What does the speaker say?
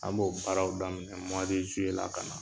An b'o baaraw daminɛ la ka na.